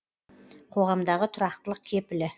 қоғамдағы тұрақтылық кепілі